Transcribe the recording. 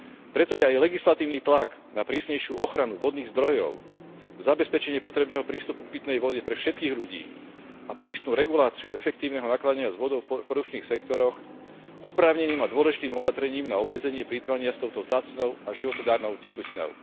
Preto je aj legislatívny tlak na prísnejšiu ochranu vodných zdrojov, zabezpečenie potrebného prístupu k pitnej vode pre všetkých ľudí a prísnu reguláciu efektívneho nakladania s vodou v produkčných sektoroch oprávneným a dôležitým opatrením na obmedzenie plytvania s touto vzácnou a životodarnou tekutinou.